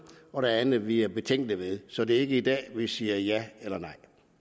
og der er andet vi er betænkelige ved så det er ikke i dag vi siger ja eller nej